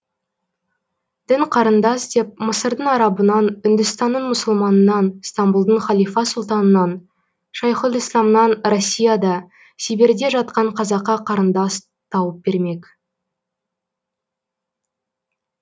дін қарындас деп мысырдың арабынан үндістанның мұсылманынан стамбұлдың халифа сұлтанынан шайхұлісләмнан россияда сибирьде жатқан қазаққа қарындас тауып бермек